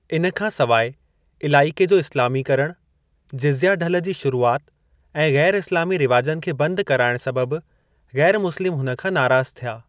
इन खां सिवाइ, इलाइके जो इस्लामीकरण, जिज़्या ढल जी शुरुआत ऐं ग़ैर-इस्लामी रिवाजनि खे बंद कराइण सबबु ग़ैर-मुस्लिम हुन खां नाराज़ थिया।